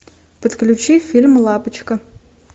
подключи фильм лапочка